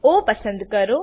ઓ પસંદ કરો